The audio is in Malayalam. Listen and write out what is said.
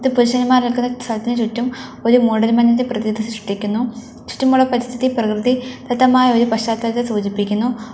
പുരുഷന്മാർ നിൽക്കുന്ന സ്ഥലത്തിന് ചുറ്റും ഒരു മൂടൽ മഞ്ഞിന്റെ പ്രതീതി സൃഷ്ടിക്കുന്നു ചുറ്റുമുള്ള പരിസ്ഥിതി പ്രകൃതി ദത്തമായ ഒരു പശ്ചാത്തലത്തെ സൂചിപ്പിക്കുന്നു.